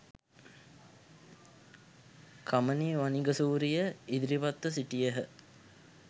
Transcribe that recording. කමනි වනිගසූරිය ඉදිරිපත්ව සිටියහ